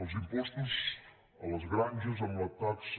els impostos a les granges amb la taxa